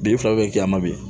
Bin fila bɛ kɛ a ma bi